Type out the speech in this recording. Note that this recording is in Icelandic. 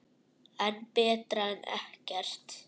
En betra en ekkert.